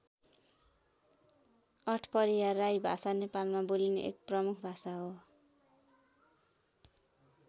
आठपहरिया राई भाषा नेपालमा बोलिने एक प्रमुख भाषा हो।